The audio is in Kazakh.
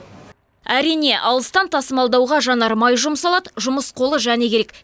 әрине алыстан тасымалдауға жанармай жұмсалады жұмыс қолы және керек